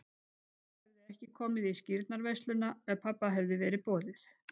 Mamma hefði ekki komið í skírnarveisluna ef pabba hefði verið boðið.